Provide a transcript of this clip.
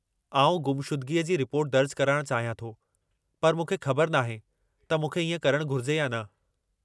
आउं गुमशुदगीअ जी रिपोर्ट दर्ज कराइणु चाहियां थो पर मूंखे ख़बर नाहे त मूंखे इएं करणु घुरिजे या न।